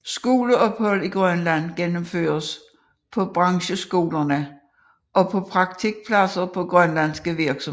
Skoleophold i Grønland gennemføres på brancheskolerne og på praktikpladser på grønlandske virksomheder